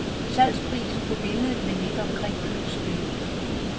Salgsprisen på billedet vil ligge omkring købsbeløbet.